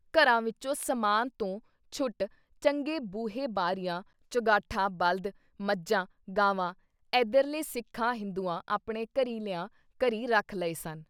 ਘਰਾਂ ਵਿੱਚੋਂ ਸਮਾਨ ਤੋਂ ਛੁੱਟ ਚੰਗੇ ਬੂਹੇ ਬਾਰੀਆਂ ਚੁਗਾਠਾਂ ਬਲਦ, ਮੱਝਾਂ, ਗਾਵਾਂ ਏਧਰਲੇ ਸਿੱਖਾਂ ਹਿੰਦੂਆਂ ਆਪਣੇ ਘਰੀਂ ਲਿਆ, ਘਰੀਂ, ਰੱਖ ਲਏ ਸਨ।